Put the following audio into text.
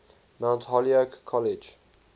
mount holyoke college